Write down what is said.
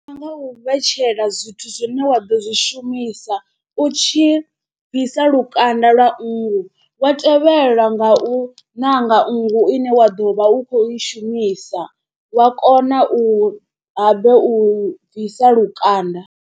Ndi nga u vhetshela zwithu zwine wa ḓo zwi shumisa u tshi bvisa lukanda lwa nngu wa tevhelwa nga u ṋanga nngu ine wa ḓo vha u khou i shumisa wa kona u habe u i bvisa lukanda.